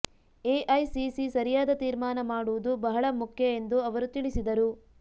AICC ಸರಿಯಾದ ತೀರ್ಮಾನ ಮಾಡೋದು ಬಹಳ ಮುಖ್ಯ ಎಂದು ಅವರು ತಿಳಿಸಿದರು